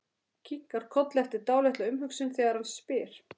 Kinkar kolli eftir dálitla umhugsun þegar hann spyr.